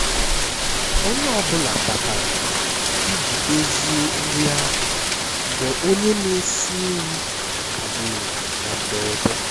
onye ọ bụla batara iji dozie nri ahụ mgbe onye na-esi nri kagburu na mberede